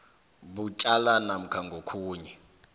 butjwala namkha ngokhunye